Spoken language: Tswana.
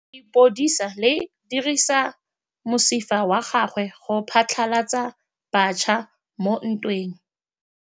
Lepodisa le dirisitse mosifa wa gagwe go phatlalatsa batšha mo ntweng.